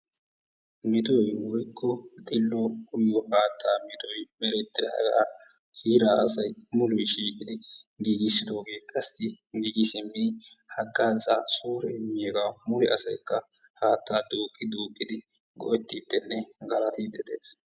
Metoy woykko xillo uyyiyo haatta metoy merettidaaga heera asay mulee shiiqid giigissidoogee qassi giigi simmidi haggaazaa suure immiyaaga mule asaykka haattaa duuqi duuqqidi go''etidenne galaatide de'ees.